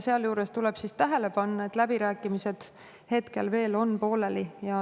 Sealjuures tuleb tähele panna, et läbirääkimised on hetkel veel pooleli.